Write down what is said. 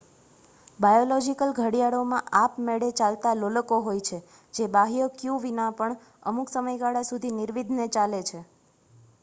biological ઘડિયાળોમાં આપમેળે ચાલતાં લોલકો હોય છે જે બાહ્ય ક્યૂ વિના પણ અમુક સમયગાળા સુધી નિર્વિઘ્ને ચાલે છે